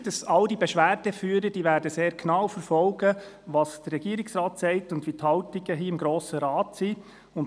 Ich bin davon überzeugt, dass all diese Beschwerdeführer sehr genau verfolgen werden, was der Regierungsrat sagt und wie die Haltungen im Grossen Rat aussehen.